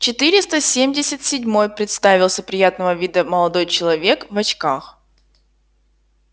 четыреста семьдесят седьмой представился приятного вида молодой человек в очках